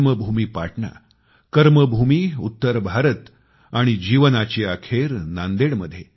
जन्मभूमी पाटणा कर्मभूमी उत्तर भारत आणि जीवनाची अखेर नांदेडमध्ये